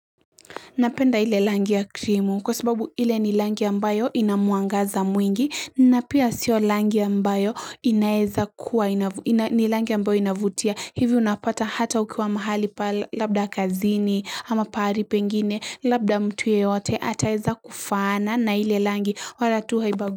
Napenda ile rangi ya krimu kwa sababu hile ni rangi ambayo inamwangaza mwingi na pia sio rangi ya ambayo inaeza kuwa, ni rangi ambayo inavutia. Hivi unapata hata ukiwa mahali pa labda kazini ama pahali pengine, labda mtu yeyote ataweza kufaana na ile rangi wala tu haibagui.